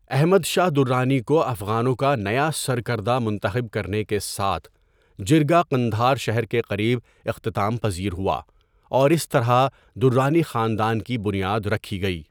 احمد شاہ درانی کو افغانوں کا نیا سرکردہ منتخب کرنے کے ساتھ جرگہ قندھار شہر کے قریب اختتام پذیر ہوا، اور اس طرح درانی خاندان کی بنیاد رکھی گئی۔